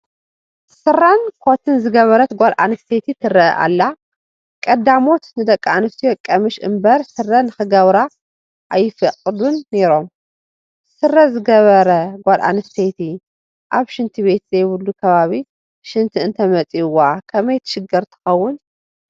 ስረን ኮትን ዝገበረት ጓለ ኣንስተይቲ ትርአ ኣላ፡፡ ቀዳሞት ንደቂ ኣንስትዮ ቀሚሽ እምበር ስረ ንኽገብራ ኣይፈቕዱን ነይሮም፡፡ ስረ ዝገበረ ጎል ኣንስተይቲ ኣብ ሽንቲ ቤት ዘይብሉ ከባቢ ሽንቲ እንተመፂኡዋ ከመይ ትሽገር ትኸውን?